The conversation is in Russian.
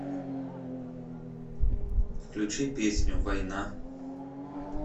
включи песню война